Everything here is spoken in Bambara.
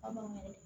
An b'o de